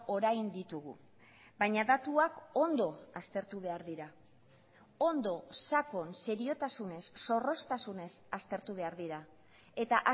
orain ditugu baina datuak ondo aztertu behar dira ondo sakon seriotasunez zorroztasunez aztertu behar dira eta